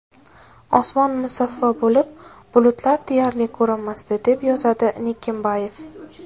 Osmon musaffo bo‘lib, bulutlar deyarli ko‘rinmasdi, deb yozadi Nikimbayev.